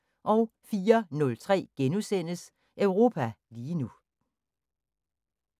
04:03: Europa lige nu *